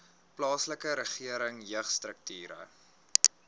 plaaslike regering jeugstrukture